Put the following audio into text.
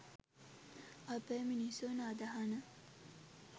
අපේ මිනිසුන් අදහන